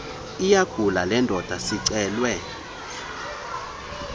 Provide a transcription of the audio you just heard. iyagula lendoda sicelwe